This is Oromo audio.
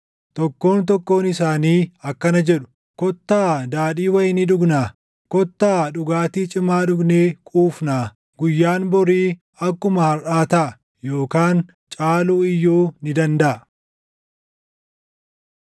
Tokkoon tokkoon isaanii akkana jedhu; // “Kottaa daadhii wayinii dhugnaa! Kottaa dhugaatii cimaa dhugnee quufnaa! Guyyaan borii akkuma harʼaa taʼa; yookaan caaluu iyyuu ni dandaʼa.”